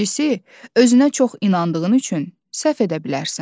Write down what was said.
İkincisi, özünə çox inandığın üçün səhv edə bilərsən.